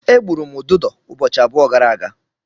Egburu m ududo ụbọchị abụọ gara aga.